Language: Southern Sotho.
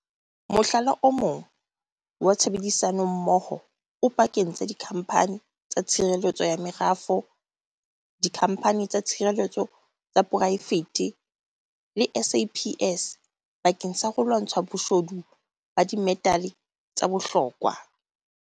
Mohlala o mong wa tshebedisanommoho o pakeng tsa dikhamphani tsa tshireletso ya merafo, dikhamphani tsa tshireletso tsa poraefete le SAPS bakeng sa ho lwantsha boshodu ba dimetale tsa bohlokwa.